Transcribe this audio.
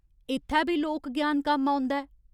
इत्थै बी लोक ज्ञान कम्म औंदा ऐ।